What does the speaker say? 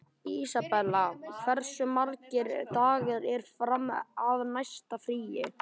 Isabella, hversu margir dagar fram að næsta fríi?